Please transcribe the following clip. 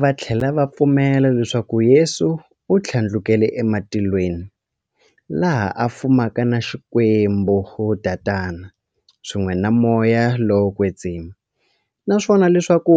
Vathlela va pfumela leswaku Yesu u thlandlukele e matilweni, laha a fumaka na Xikwembu-Tatana, swin'we na Moya lowo kwetsima, naswona leswaku